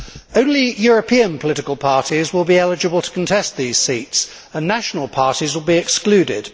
Only European political parties will be eligible to contest these seats, and national parties will be excluded.